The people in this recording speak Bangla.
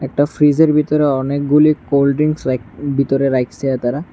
ফ্রিজের ভিতরে অনেকগুলি কোল্ড ড্রিঙ্কস রাইক বিতরে রাইখসে তারা।